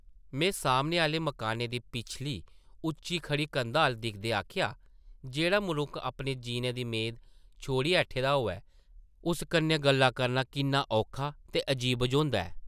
में सामने आह्ले मकानै दी पिछली उच्ची खड़ी कंधा अʼल्ल दिखदे आखेआ, जेह्ड़ा मनुक्ख अपने जीने दी मेद छोड़ी ऐठे दा होऐ, उस कन्नै गल्लां करना किन्ना औखा ते अजीब बझोंदा ऐ ।